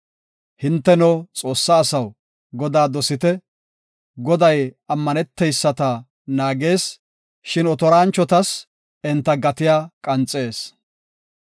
Hinteno, Xoossa asaw, Godaa dosite; Goday ammaneteyisata naagees; shin otoranchotas enta gatiya qanxees.